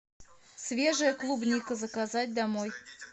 свежая клубника заказать домой